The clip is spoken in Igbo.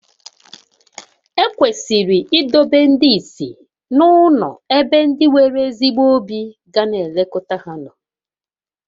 Ekwesịrị idobe ndị ìsì n'ụlọ ebe ndị nwere ezigbo obi ga na-elekọta ha